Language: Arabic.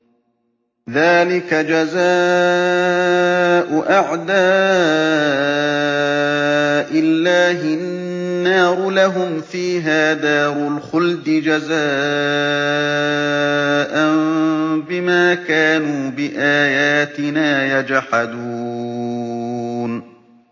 ذَٰلِكَ جَزَاءُ أَعْدَاءِ اللَّهِ النَّارُ ۖ لَهُمْ فِيهَا دَارُ الْخُلْدِ ۖ جَزَاءً بِمَا كَانُوا بِآيَاتِنَا يَجْحَدُونَ